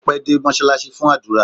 Ó pẹ́ dé mọ́ṣáláṣí fún àdúrà